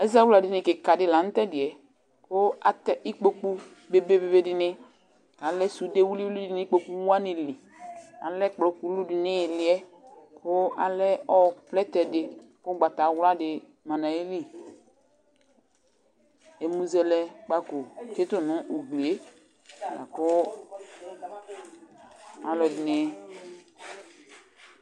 Ɛzawla dini kika di lanutɛdiɛ kʊ atɛ ɩkpoku beve dini, alɛ sude wilɩ wʊlɩ nʊ ikpokʊ walɩ lɩ Alɛ ɛkplɔ kulu di ŋɩlɩ ƴɛ kʊ alɛ plɛtɛ di kʊgbatawla ma ŋaƴɩlɩ Ɛmʊzɛlɛkpako tsɩtʊ nu ʊglɩe ku alʊ dino